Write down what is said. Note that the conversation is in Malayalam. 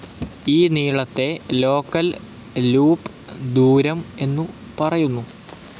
ഈ നീളത്തെ ലോക്കൽ ലൂപ്പ്‌ ദൂരം എന്നു പറയുന്നു.